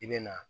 I bɛ na